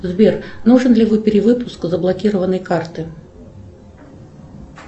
сбер нужен ли перевыпуск заблокированной карты